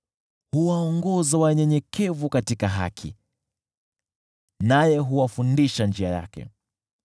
Huwaongoza wanyenyekevu katika haki, naye huwafundisha njia yake.